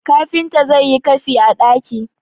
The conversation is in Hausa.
kafinta zai yi kafi a daki!